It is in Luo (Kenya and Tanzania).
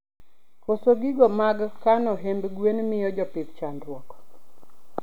Koso gigo mag kano hiemb gwen miyo jopith chandruok